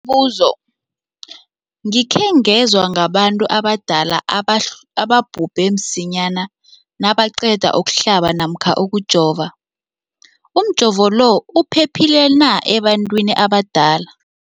Umbuzo, gikhe ngezwa ngabantu abadala ababhubhe msinyana nabaqeda ukuhlaba namkha ukujova. Umjovo lo uphephile na ebantwini abadala?